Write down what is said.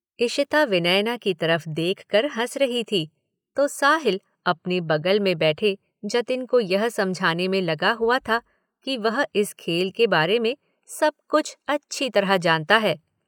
इशिता विनयना की तरफ देख कर हंस रही थी, तो साहिल अपने बगल में बैठे जतिन को यह समझाने में लगा हुआ था कि वह इस खेल के बारे में सब कुछ अच्छी तरह जानता है।